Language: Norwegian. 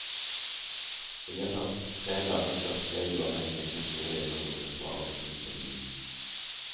I løpet av tre dager skal tre uavhengige sensorer gjennomgå besvarelsen på ny.